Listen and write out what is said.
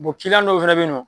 dɔw fana bɛ ye nɔ.